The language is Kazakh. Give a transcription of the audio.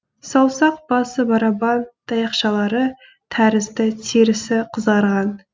саусақ басы барабан таяқшалары тәрізді терісі қызарған